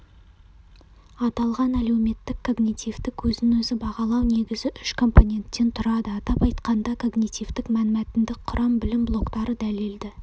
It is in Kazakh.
аталған әлеуметтік-когнитивтік өзін-өзі бағалау негізі үш компоненттен тұрады атап айтқанда когнитивтік-мәнмәтіндік құрам білім блоктары дәлелді